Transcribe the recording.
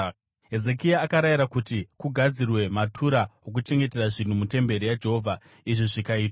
Hezekia akarayira kuti kugadzirwe matura okuchengetera zvinhu mutemberi yaJehovha, izvi zvikaitwa.